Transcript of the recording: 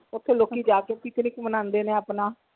ਓਥੇ ਲੋਕੀ ਜਾ ਕੇ picnic ਮਨਾਉਂਦੇ ਨੇ ਆਪਣਾ।